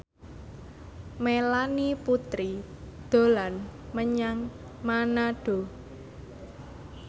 Melanie Putri dolan menyang Manado